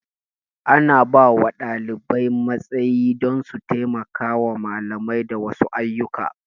Ana bawa ɗalibai matsayi don su taimaka wa malami da wasu ayyuka